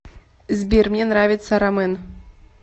сбер мне нравится рамэн